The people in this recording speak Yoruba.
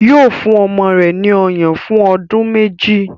Yóò fún ọmọ rẹ̀ ní ọyàn fún ọdún méjì.